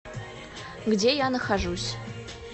где я нахожусь